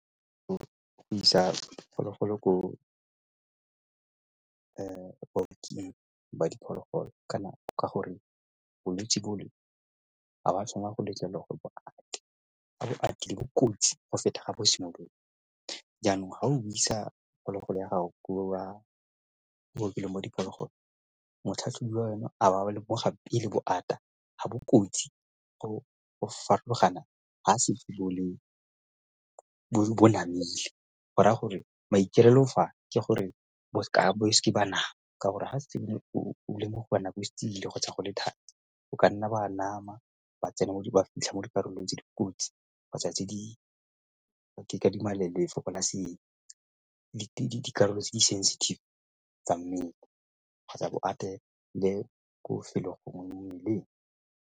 Go isa diphologolo ko ba diphologolo ka gore bolwetsi bole ha bo a tshwanela go letlelelwa go bo kotsi go feta ga bo simolola. Yanong ga o isa phologolo ya gago ko bookelong mo diphogolo le gore motlhatlhobiwa ena a ba a lemoga pele ga bokotsi go farologana ga le bo namile go raya gore maikaelelo fa ke gore o seka ba bana ka gore ga se nne o le mo go kgotsa go nna thari o ka nna ba nama ba tsena mo di ba fitlha mo dikarolong tse dikotsi kgotsa tse di ke adima dikarolo tse di sensitive tsa mmele kgotsa bo atele ko bofelong le mo mmeleng.